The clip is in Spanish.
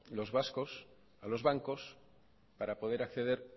los vascos a los bancos para poder acceder